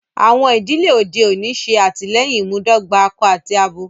Àwọn idílẹ̀ ọdẹ̀ ọ̀ní ṣé àtílẹyìn ìmúdògbà àkọ àti àbọ